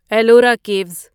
Ellora caves